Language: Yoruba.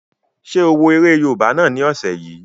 Ṣé o wo eré yóòbá náà ni ọ̀sẹ̀ yìí?